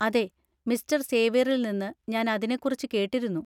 അതെ, മിസ്റ്റർ സേവ്യറിൽ നിന്ന് ഞാൻ അതിനെക്കുറിച്ച് കേട്ടിരുന്നു.